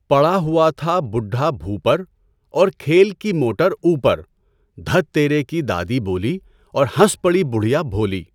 پڑا ہوا تھا بڈھا بھو پر اور کھیل کی موٹر اوپر دَھت تیرے کی دادی بولی اور ہنس پڑی بڑھیا بھولی